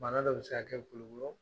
Bana dɔ bɛ se kɛ kulikɔrɔ